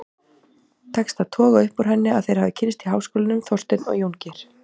Tekst að toga upp úr henni að þeir hafi kynnst í háskólanum, Þorsteinn og Jóngeir.